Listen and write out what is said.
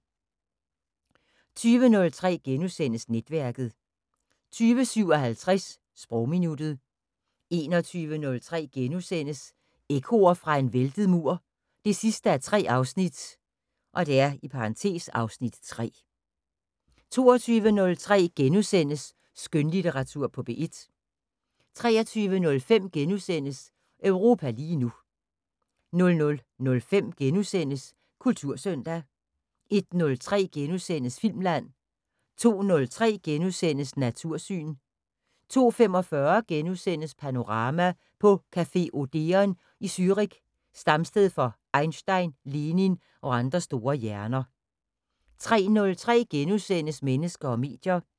20:03: Netværket * 20:57: Sprogminuttet 21:03: Ekkoer fra en væltet mur 3:3 (Afs. 3)* 22:03: Skønlitteratur på P1 * 23:05: Europa lige nu * 00:05: Kultursøndag * 01:03: Filmland * 02:03: Natursyn * 02:45: Panorama: På café Odeon i Zürich, stamsted for Einstein, Lenin og andre store hjerner * 03:03: Mennesker og medier *